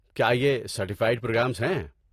کیا یہ certified programs ہیں؟